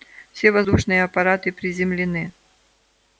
все воздушные аппараты приземлены